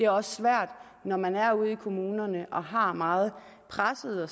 også svært når man sidder ude i kommunerne og har meget pressede og